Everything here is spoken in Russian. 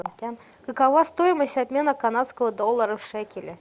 какова стоимость обмена канадского доллара в шекели